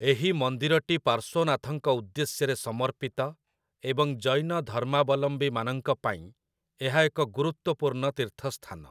ଏହି ମନ୍ଦିରଟି ପାର୍ଶ୍ୱନାଥଙ୍କ ଉଦ୍ଦେଶ୍ୟରେ ସମର୍ପିତ ଏବଂ ଜୈନ ଧର୍ମାବଲମ୍ବୀମାନଙ୍କ ପାଇଁ ଏହା ଏକ ଗୁରୁତ୍ୱପୂର୍ଣ୍ଣ ତୀର୍ଥସ୍ଥାନ ।